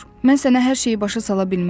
Mən sənə hər şeyi başa sala bilmərəm.